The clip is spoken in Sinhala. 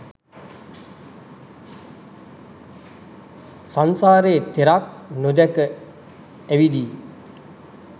සංසාරයේ තෙරක් නොදැක ඇවිදියි.